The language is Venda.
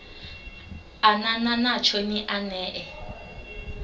anana natsho ni a ṋee